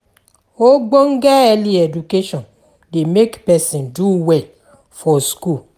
Ogbonge early education de make person do well for school